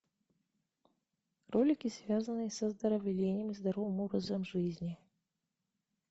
ролики связанные с оздоровлением и здоровым образом жизни